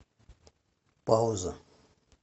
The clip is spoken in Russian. пауза